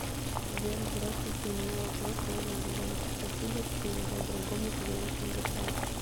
сбер здравствуйте у меня вопрос можно ли бонусы спасибо передать другому клиенту сбербанк